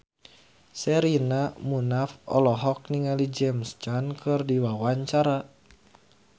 Sherina Munaf olohok ningali James Caan keur diwawancara